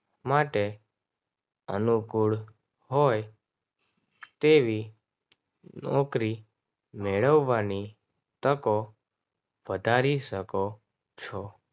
માટે અનુકૂળ હોય તેવી નોકરી મેળવવાની તકો વધારી શકો છો.